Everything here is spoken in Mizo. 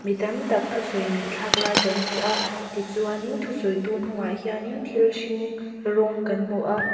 tam tak thusawi ngaihthlak lai kan hmu a tichuan in thusawitu hnungah hian in thil hring rawng kan hmu a.